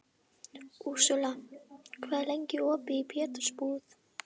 Úrsúla, hvað er lengi opið í Pétursbúð?